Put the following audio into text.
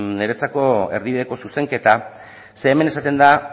niretzako erdibideko zuzenketa zeren hemen esaten da